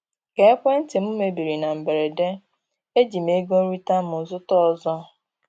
Ka ekwentị m mebiri na mberede, eji m ego nrita m zụta ọzọ.